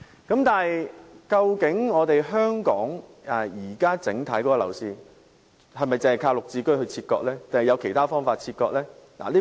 然而，究竟香港目前的整體樓市是否靠"綠置居"切割呢？還是有其他方法切割呢？